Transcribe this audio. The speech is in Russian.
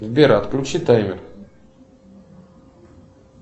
сбер отключи таймер